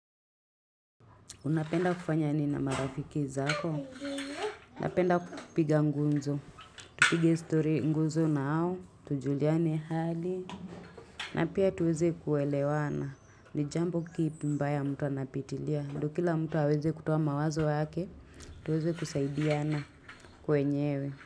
Unapenda kufanya nini na marafiki zako. Unapenda kutupiga ngunzo. Tupige story nguzo na hao Tujuliane hali. Na pia tuweze kuelewana. Nijambo kipi mbaya mtu anapitilia. Ndo kila mtu haweze kutoa mawazo wake. Tuweze kusaidiana. Kwenyewe.